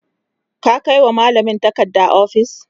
ka Kai wa mallamin takarda ofis?